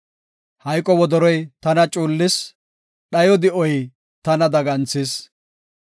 Hayqo wodoroy tana cuullis; dhayo di7oy tana daganthis.